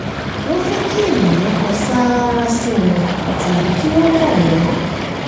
wọ́n fẹ́ kí ènìyàn kan sáárá sí wọn tàbí kí wọ́n mọ wọn.